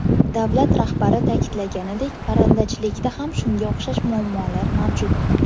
Davlat rahbari ta’kidlaganidek, parrandachilikda ham shunga o‘xshash muammolar mavjud.